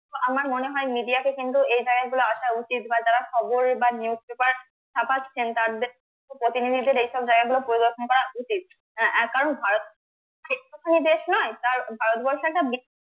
আমার মনে হয় media কে কিন্তু এই জায়গা গুলো আসা উচিত বা যারা খবর বা newspaper ছাপাচ্ছেন তাদের প্রতিনিধিদের এইসব জায়গা গুলো পরিদর্শন করা উচিত হ্যাঁ, কারণ ভারত একটুখানি দেশ নয় তার ভারতবর্ষ একটা